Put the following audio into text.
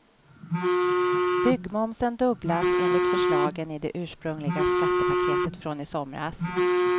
Byggmomsen dubblas enligt förslagen i det ursprungliga skattepaketet från i somras.